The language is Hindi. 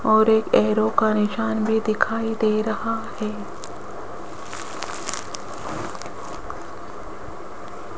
और एक एरो का निशान भी दिखाई दे रहा है।